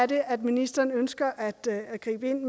det er at ministeren ønsker at at gribe ind